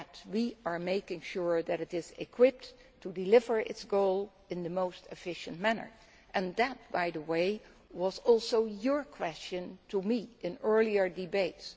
We are making sure that it is equipped to deliver on its goals in the most efficient manner and that, by the way, was also a question put to me in earlier debates.